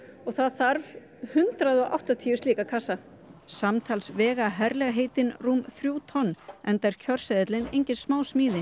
og það þarf hundrað og áttatíu slíka kassa samtals vega herlegheitin rúm þrjú tonn enda er kjörseðillinn engin smásmíði